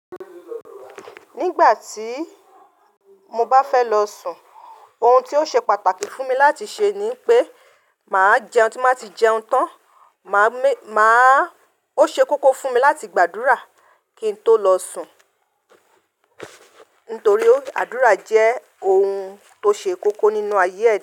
Nígbà tí mo bá fẹ́ lọ sùn, ohun tí ó ṣe pàtàkì fún mi láti ṣe ni pé màá jẹun. Tí mo bá ti jẹun tán, máa mé-- máa-- ó ṣe kókó fún mi láti gbàdúrà kí n tó lọ sùn. Nítorí àdúrà jẹ́ ohun tó ṣe kókó nínú ayé yìí.